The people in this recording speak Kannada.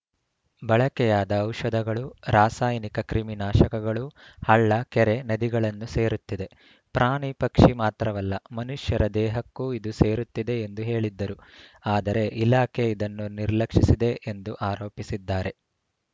ಬಳಕೆಯಾದ ಔಷಧಗಳು ರಾಸಾಯನಿಕ ಕ್ರಿಮಿನಾಶಕಗಳು ಹಳ್ಳ ಕೆರೆ ನದಿಗಳನ್ನು ಸೇರುತ್ತಿದೆ ಪ್ರಾಣಿ ಪಕ್ಷಿ ಮಾತ್ರವಲ್ಲ ಮನುಷ್ಯರ ದೇಹಕ್ಕೂ ಇದು ಸೇರುತ್ತಿದೆ ಎಂದು ಹೇಳಿದ್ದರು ಆದರೆ ಇಲಾಖೆ ಇದನ್ನು ನಿರ್ಲಕ್ಷಿಸಿದೆ ಎಂದು ಆರೋಪಿಸಿದ್ದಾರೆ